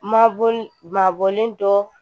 Mabɔ mabɔlen dɔ